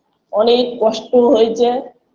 অনেক কষ্ট হইচে